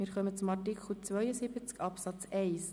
Wir kommen zum Artikel 72 Absatz 1.